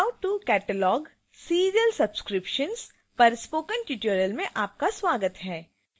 how to catalog serial subscriptions पर spoken tutorial में आपका स्वागत है